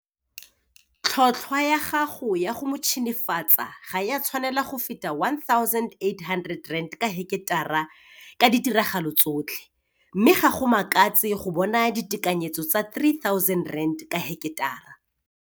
Tlhotlhwa ya gago ya go motšhenefatsa ga e a tshwanela go feta R1 800 ka heketara ka ditiragalo tsotlhe mme ga go makatse go bona ditekanyetso tsa R3 000 ka heketara.